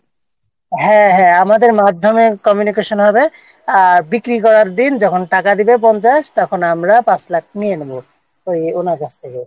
হ্যাঁ হ্যাঁ আমাদের মাধ্যমে কমিউনিকেশন হবে আর বিক্রি করার দিন যেদিন টাকা দেবে পঞ্চাশ তখন আমরা পাঁচ লাখ নিয়ে নেব ওই ওনার কাছ থেকে